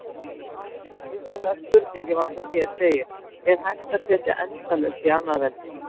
Upphaflega spurningin var sem hér segir: Er hægt að setja endalaust í annað veldi?